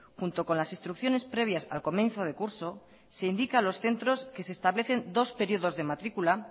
junto con las instrucciones previas al comienzo de curso se indica a los centros que se establecen dos períodos de matrícula